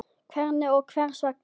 Hvernig og hvers vegna?